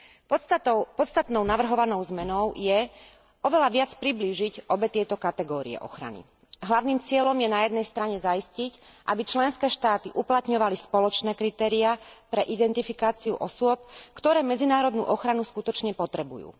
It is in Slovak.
Podstatnou navrhovanou zmenou je oveľa viac priblížiť obe tieto kategórie ochrany. Hlavným cieľom je na jednej strane zaistiť, aby členské štáty uplatňovali spoločné kritériá pre identifikáciu osôb, ktoré medzinárodnú ochranu skutočne potrebujú.